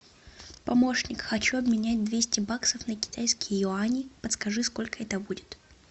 помощник хочу обменять двести баксов на китайские юани подскажи сколько это будет